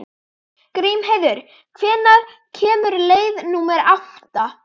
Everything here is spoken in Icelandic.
Grímheiður, hvenær kemur leið númer átta?